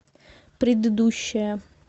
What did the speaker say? предыдущая